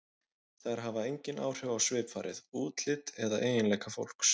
Þær hafa engin áhrif á svipfarið, útlit eða eiginleika fólks.